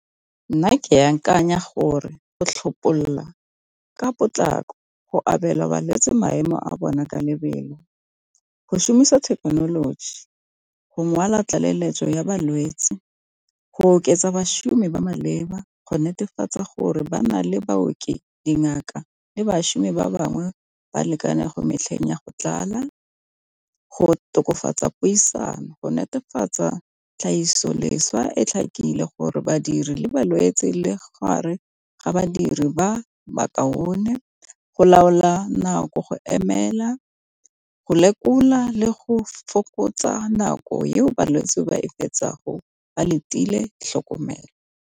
Nna ke ya akanya gore go tlhapololo ka potlako, go abelwa balwetse maemo a bona ka lebelo, go šomisa thekenoloji go ngwala tlaleletso ya balwetsi, go oketsa bašomi ba ba maleba, go netefatsa gore ba na le baoki dingaka le bašomi ba bangwe ba lekane go metlheng ya go tlala, go tokafatsa puisano, go netefatsa tlhagiso e tlhakile gore badiri le balwetsi le gare ga badiri ba ba kaone go laola nako, go emela, go lekola, le go fokotsa nako eo balwetse ba e fetsa ba letile tlhokomelo.